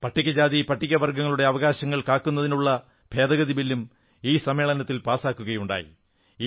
പട്ടികജാതി പട്ടിക വർഗ്ഗങ്ങളുടെ അവകാശങ്ങൾ കാക്കുന്നതിന് ഭേദഗതി ബില്ലും ഈ സമ്മേളനത്തിൽ പാസാക്കുകയുണ്ടായി